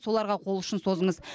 соларға қол ұшын созыңыз